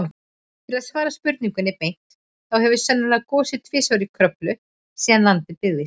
Til að svara spurningunni beint, þá hefur sennilega gosið tvisvar í Kröflu síðan land byggðist.